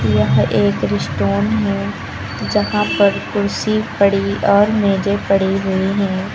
यह एक रेस्टोन है जहां पर कुर्सी पड़ी और मेजे पड़ी हुई हैं।